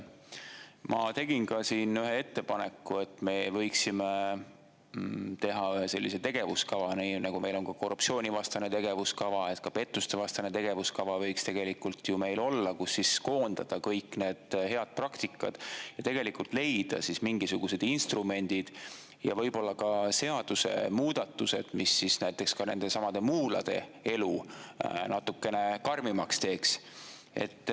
Ma tegin siin ühe ettepaneku, et me võiksime teha ühe sellise tegevuskava, nii nagu meil on korruptsioonivastane tegevuskava, et pettustevastane tegevuskava võiks tegelikult ju meil olla, kus koondada kõik need head praktikad ja leida mingisugused instrumendid ja võib-olla ka seadusemuudatused, mis näiteks ka nendesamade muulade elu natukene karmimaks teeks.